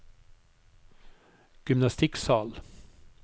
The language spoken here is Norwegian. gymnastikksal